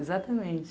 Exatamente.